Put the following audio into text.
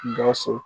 Gawusu